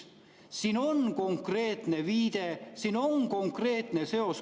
Siin on konkreetne viide, siin on konkreetne seos.